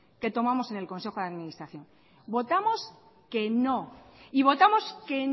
que tomamos en el consejo de administración votamos que no y votamos que